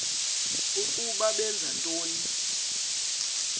ukuba benza ntoni